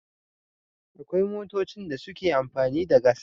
Akwai motocin da suke amfani da gas